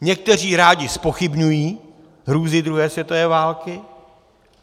Někteří rádi zpochybňují hrůzy druhé světové války.